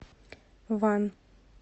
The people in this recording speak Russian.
ван